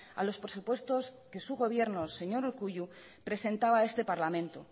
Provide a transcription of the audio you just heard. a los presupuestos que su gobierno señor urkullu presentaba a este parlamento